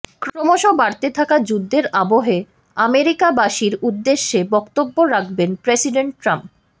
ক্রমশ বাড়তে থাকা যুদ্ধের আবহে আমেরিকাবাসীর উদ্দেশ্যে বক্তব্য রাখবেন প্রেসিডেন্ট ট্রাম্প